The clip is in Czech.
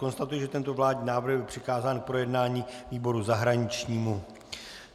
Konstatuji, že tento vládní návrh byl přikázán k projednání výboru zahraničnímu.